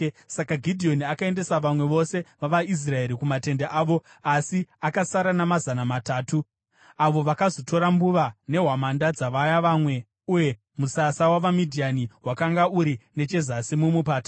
Saka Gidheoni akaendesa vamwe vose vavaIsraeri kumatende avo asi akasara namazana matatu, avo vakazotora mbuva nehwamanda dzavaya vamwe. Zvino musasa wavaMidhiani wakanga uri nechezasi mumupata.